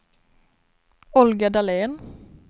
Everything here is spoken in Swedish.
Olga Dahlén